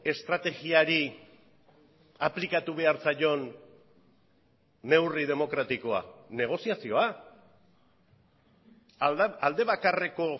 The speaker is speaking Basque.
estrategiari aplikatu behar zaion neurri demokratikoa negoziazioa aldebakarreko